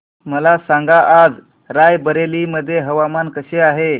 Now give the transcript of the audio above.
मला सांगा आज राय बरेली मध्ये हवामान कसे आहे